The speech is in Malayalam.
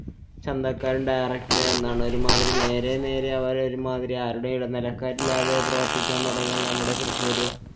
ചന്തക്കാരും direct എന്നാണ്ഒരുമാതിരി നേരെ നേരെ ആവാതെ ഒരുമാതിരി ആരുടെ ഇടനിലക്കാരില്ലാതെ പ്രവര്‍ത്തിക്കാന്‍ തുടങ്ങിയാല്‍ നമ്മുടെ കൃഷിയൊരു